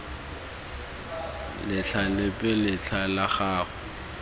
letlha lepe letlha la gago